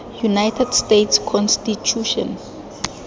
united states constitution